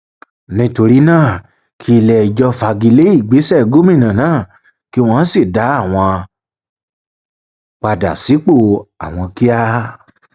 nítorí náà kí iléẹjọ fagi lé ìgbésẹ gómìnà náà kí wọn sì dá àwọn padà sípò àwọn kíá